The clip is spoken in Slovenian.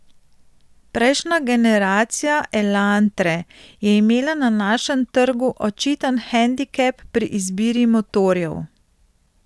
Prejšnja generacija elantre je imela na našem trgu očiten hendikep pri izbiri motorjev.